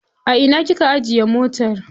A ina kika ajiye motar?